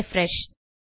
refresh